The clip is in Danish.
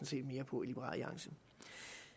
set mere på